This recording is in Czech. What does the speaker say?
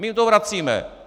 My jim to vracíme.